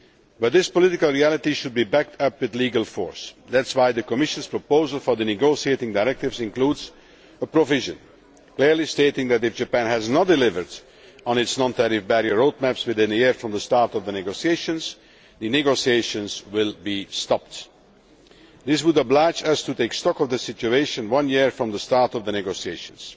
But this political reality should be backed up with legal force and that is why the Commission's proposal for the negotiating directives includes a provision clearly stating that if Japan has not delivered on its non tariff road maps within a year from the start of the negotiations, the negotiations will be stopped. This would oblige us to take stock of the situation one year from the start of the negotiations